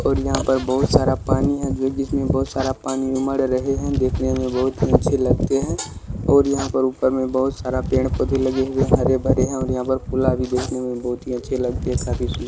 और यहाँ पर बहुत सारा पानी हैं जोकि जिसमें बहुत सारा पानी में उमड़ रहे हैं। देखने में बहुत ही अच्छे लगते हैं और यहाँ परऊपर में बहुत सारे पेड़ पौधे भी लगे हुए हैं। हरे भरे हैं और यहाँ पर फूल भी देखने में बहुत अच्छे लगते हैं काफी --